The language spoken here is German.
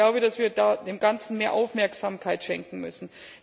Ich glaube, dass wir dem Ganzen mehr Aufmerksamkeit schenken müssen.